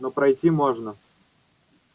но пройти можно